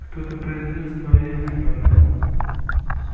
кто-то произнёс твоё имя гарри